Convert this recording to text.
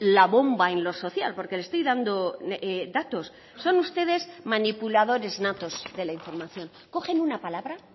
la bomba en lo social porque le estoy dando datos son ustedes manipuladores natos de la información cogen una palabra